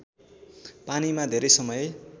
पानीमा धेरै समय